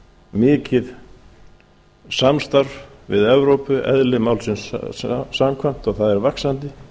mikið samstarf við evrópu eðli málsins samkvæmt og það er vaxandi